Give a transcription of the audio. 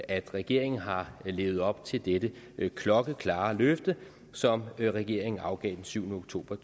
at regeringen har levet op til dette klokkeklare løfte som regeringen afgav den syvende oktober